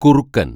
കുറുക്കന്‍